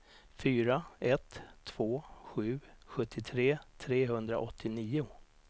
fyra ett två sju sjuttiotre trehundraåttionio